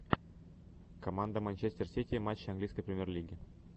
команда манчестер сити матчи английской премьер лиги